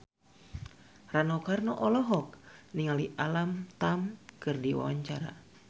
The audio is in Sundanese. Rano Karno olohok ningali Alam Tam keur diwawancara